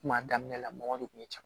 Kuma daminɛ la mɔgɔ de kun ye caman